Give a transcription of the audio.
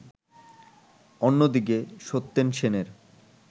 অন্যদিকে সত্যেন সেনের